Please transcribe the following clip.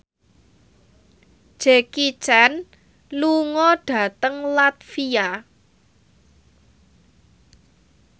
Jackie Chan lunga dhateng latvia